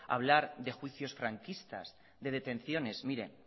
hablar de juicios franquistas de detenciones etcétera mire